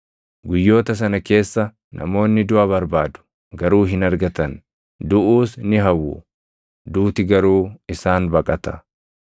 Guyyoota sana keessa namoonni duʼa barbaadu; garuu hin argatan. Duʼuus ni hawwu; duuti garuu isaan baqata.